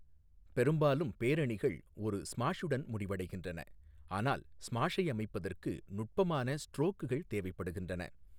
பெரும்பாலும் பேரணிகள் ஒரு ஸ்மாஷுடன் முடிவடைகின்றன, ஆனால் ஸ்மாஷை அமைப்பதற்கு நுட்பமான ஸ்ட்ரோக்குகள் தேவைப்படுகின்றன.